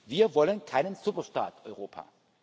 Wir wollen keinen Superstaat Europa.